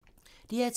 DR2